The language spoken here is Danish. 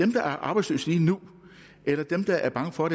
der er arbejdsløse lige nu eller dem der er bange for